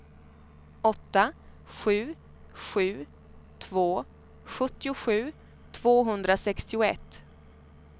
åtta sju sju två sjuttiosju tvåhundrasextioett